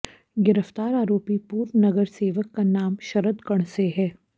गिरफ्तार आरोपी पूर्व नगर सेवक का नाम शरद कणसे है